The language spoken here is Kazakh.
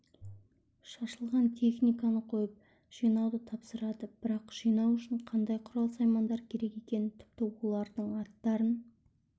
шашылған техниканы қойып жинауды тапсырады бірақ жинау үшін қандай құрал-саймандар керек екенін тіпті олардың аттарын